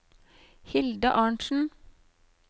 Hilde Arntzen